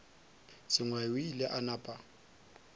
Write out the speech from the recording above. sengwai o ile a napa